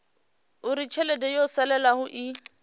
uri tshelede yo salelaho i